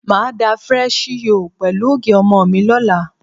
Màá da fresi yóò pẹ̀lú ògì ọmọ mi lọ́la.